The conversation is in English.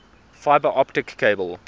fiber optic cable